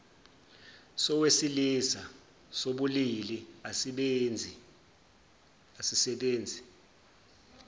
sowesilisa sobulili asisebenzi